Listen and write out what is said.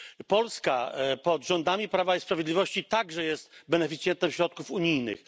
Polska pod rządami Prawa i Sprawiedliwości także jest beneficjentem środków unijnych.